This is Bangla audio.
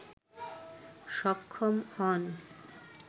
সক্ষম হন